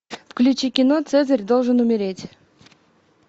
включи кино цезарь должен умереть